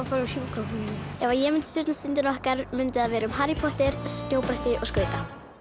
sjúkrahúsið ef ég mundi stjórna Stundinni okkar mundi það vera um Harry Potter snjóbretti og skauta